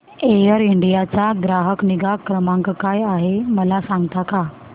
air India चा ग्राहक निगा क्रमांक काय आहे मला सांगता का